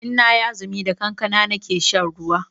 Inna yi azumi da kankana nake shan ruwa